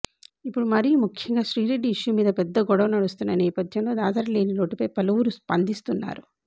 ఇప్పుడు మరీ ముఖ్యంగా శ్రీరెడ్డి ఇష్యూ మీద పెద్ద గొడవ నడుస్తున్న నేపథ్యంలో దాసరి లేని లోటుపై పలువురు స్పందిస్తున్నారు